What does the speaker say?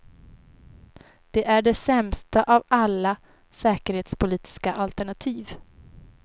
Det är det sämsta av alla säkerhetspolitiska alternativ.